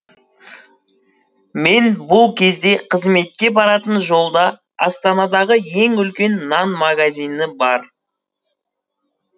мен бұл кезде қызметке баратын жолда астанадағы ең үлкен нан магазині бар